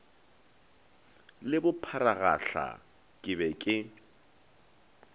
le bopharagahla ke be ke